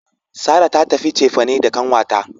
Sarah ta tafi cefane da kanwata.